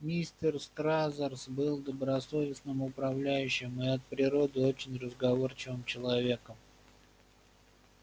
мистер стразерс был добросовестным управляющим и от природы очень разговорчивым человеком